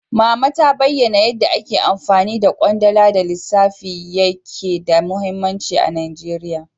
Mama ta bayana yanda ake amfani da kwandala da lissafi yake da mahimmanci a Najeriya.